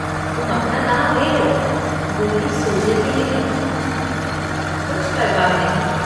तुम अपना दाँव ले लो। गुल्ली सूझेगी नहीं। कुछ परवाह नहीं।